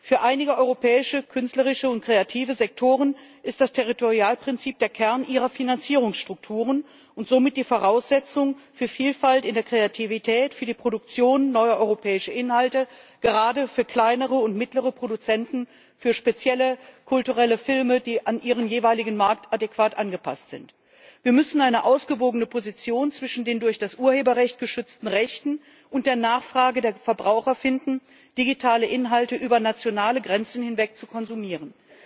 Für einige europäische künstlerische und kreative Sektoren ist das Territorialprinzip der Kern ihrer Finanzierungsstrukturen und somit die Voraussetzung für Vielfalt in der Kreativität, für die Produktion neuer europäischer Inhalte, gerade für kleinere und mittlere Produzenten, für spezielle kulturelle Filme, die an ihren jeweiligen Markt adäquat angepasst sind. Wir müssen eine ausgewogene Position zwischen den durch das Urheberrecht geschützten Rechten und der Nachfrage der Verbraucher finden, digitale Inhalte über nationale Grenzen hinweg zu konsumieren.